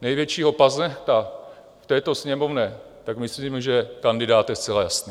největšího paznehta v této Sněmovně, tak myslím, že kandidát je zcela jasný.